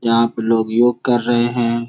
यहाँ पे लोग योग कर रहे हैं।